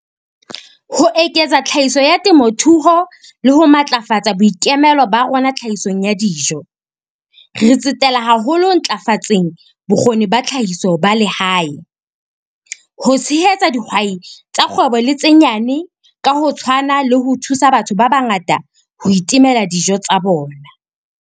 Ho eketsa tlhahiso ya temothuo le ho matlafatsa boikemelo ba rona tlhahisong ya dijo, re tsetela haholo ho ntlafatseng bokgoni ba tlhahiso ba lehae, ho tshehetsa dihwai tsa kgwebo le tse nyane ka ho tshwana le ho thusa batho ba bangata ho itemela dijo tsa bona.